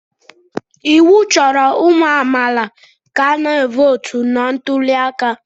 Iwu chọrọ ụmụ amaala ka ha votu na ntuli aka.